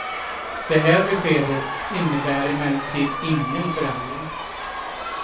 Det här beskedet innebär emellertid ingen förändring.